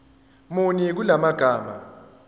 muni kula magama